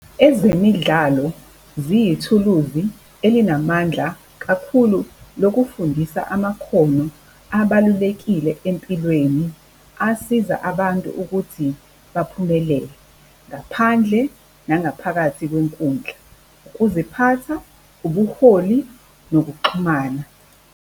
Ezemidlalo ziyithuluzi elinamandla kakhulu lokufundisa amakhono abalulekile empilweni, asiza abantu ukuthi baphumelele. Ngaphandle nangaphakathi kwenkundla. Ukuziphatha, ubuholi, nokuxhumana.